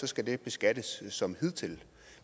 skal det beskattes som hidtil